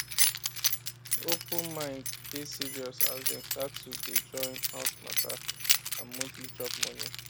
open mind dey serious as dem start to day join house matter and monthly chop money